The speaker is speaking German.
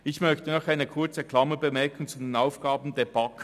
Ich möchte noch eine kurze Klammerbemerkung zu den Aufgaben der BaK anbringen: